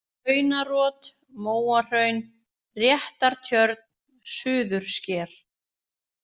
Hraunarot, Móahraun, Réttartjörn, Suðursker